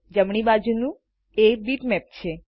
જમણી બાજુ એ બીટમેપ છે